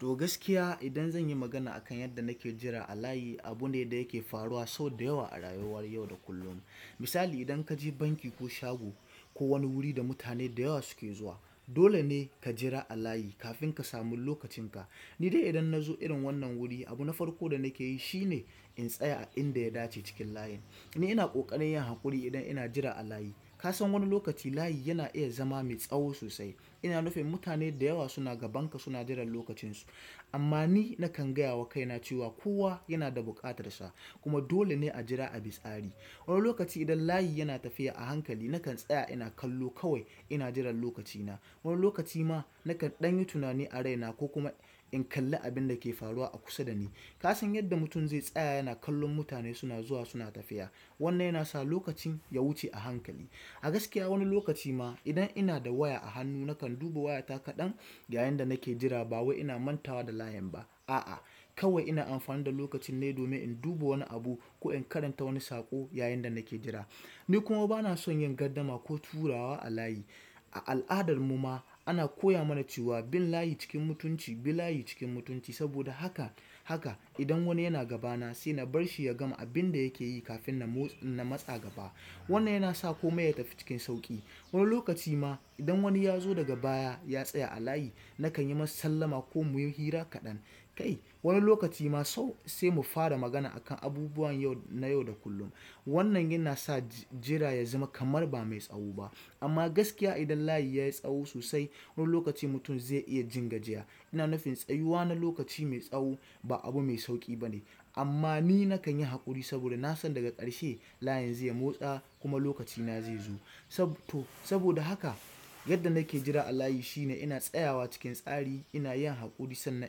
To gaskiya idan zan yi magana akan yadda na ke jira a layi, abu ne da yake faruwa sau da yawa a rayuwar yau da kullum. Misali idan ka je banki ko shago ko wani wuri da mutane da yawa su ke zuwa, dole ne ka jira a layi kafin ka samu lokacin ka. Ni dai idan na zo irin wannan wuri, abu na farko da na ke yi shi ne in tsaya a inda ya dace cikin layin. Ni ina ƙoƙarin yin haƙuri idan ina jira a layi. Ka san wani lokaci layi yana iya zama me tsaho sosaai ina nufin mutane da yawa suna gaban ka suna jiran lokacin su. Amma ni na kan gaya wa kaina cewa kowa yana da buƙatar sa kuma dole ne a jira ani tsari. Wani lokaci idan layi yana tafiya a hankali, na kan tsaya ina kallo kawai ina jiran lokaci na. Wani lokaci ma na kan ɗan yi tunani a raina ko kuma in kalli abin da ke faruwa a kusa da ni. Ka san yadda mutum zai tsaya yana kallon mutane suna zuwa suna tafiya. Wannan yana sa lokacin ya wuce a hankali. A gaskiya wani lokacin ma idan ina da waya a hannu na, na kan duba wayata kaɗan yayin da na ke jira ba wai ina mantawa da layin ba a'a, kawai ina amfani da lokacin ne domin in duba wani abu ko in karanta wani saƙo yayin da na ke jira. Ni kuma ba na son yin gardama ko turawa a layi. A al'adar mu ma ana koya mana cewa bin layi cikin mutunci, bi layi cikin mutunci saboda haka, haka idan wani yana gaba na sai na bar shi ya gama abin da yake yi kafin na motsa, na matsa gaba. Wannan yana sa komai ya tafi cikin sauƙi. Wani lokaci ma idan wani ya zo daga baya ya tsaya a layi, na kan yi masa sallama ko muyi hira kaɗan. Kai wani lokaci ma sau sai mu fara magana akan abubuwan yau na yau da kullum. Wannan yana sa jira ya zama kamar ba mai tsaho ba. Amma gaskiya idan layi ya yi tsaho sosai, wani lokaci mutum zai iya jin gajiya. Ina nufin tsayuwa na lokaci mai tsaho ba abu mai sauƙi ba ne. Amma ni na kan yi haƙuri saboda na san daga ƙarshe layin zai motsa kuma lokaci na zai zo. Sabto saboda haka yadda na ke jira a layi shine ina tsayawa cikin tsari, ina yin haƙuri sannan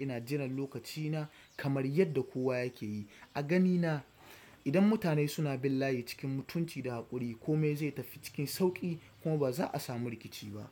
ina jiran lokaci na kamar yadda kowa yake yi. A gani na idan mutane suna bin layi cikin mutunci da haƙuri, kome zai tafi cikin sauƙi kuma ba za a samu rikici ba.